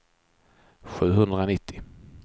sjuhundranittio